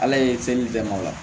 Ala ye se di bɛɛ ma ola